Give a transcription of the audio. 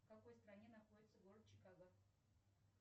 в какой стране находится город чикаго